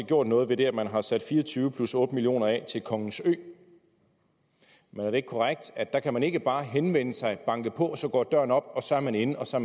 gjort noget ved at man har sat fire og tyve plus otte million kroner af til kongens ø men er det ikke korrekt at der kan man ikke bare henvende sig banke på og så går døren op og så er man inde og så